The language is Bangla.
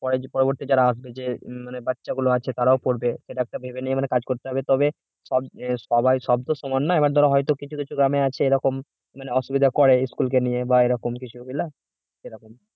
পরবর্তী যারা আছে যে মানে যে বাচ্চাগুলো আছে তারাও পড়বে সেটা একটা ভেবে নিয়ে মানে কাজ করতে হবে তবেই সব আহ সবাই সব তো সমান না ধরা হয়তো কিছু কিছু গ্রামে আছে এরকম মানে অসুবিধা করে school কে নিয়ে এরকম কিছু বুঝলে এরকম